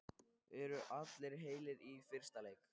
Eru allir heilir í fyrsta leik?